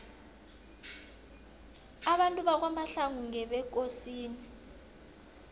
abantu bakwamahlangu ngebekosini